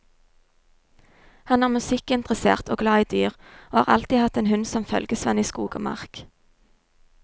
Han er musikkinteressert og glad i dyr, og har alltid hatt en hund som følgesvenn i skog og mark.